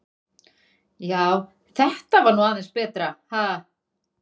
Já, þetta var nú aðeins betra, ha!